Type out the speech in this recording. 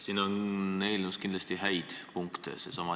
Siin eelnõus on kindlasti häid punkte.